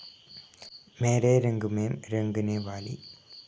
മേരെ രംഗ് മേം രംഗനെ വാലി